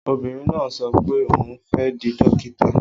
Obìnrin náà ń sọ pé òun fẹ́ di dókítà.